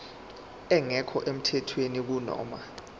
engekho emthethweni kunoma